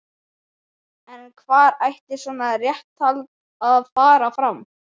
En hvar ætti svona réttarhald að fara fram?